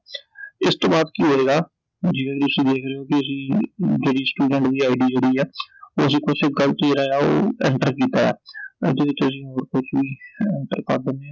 ਇਸ ਤੋਂ ਬਾਅਦ ਕੀ ਹੋਏਗਾ ਓਹਦੀ ਅਸੀਂ ਜਿਹੜੀ student ਦੀ ID ਜਿਹੜੀ ਐ, ਉਹ ਅਸੀਂ enter ਕੀਤਾ ਏ ਆ I ਇਹਦੇ ਵਿਚ ਅਸੀਂ ਹੋਰ ਕੁਛ ਵੀ enter ਕਰ ਦਿੰਨੇ ਆਂI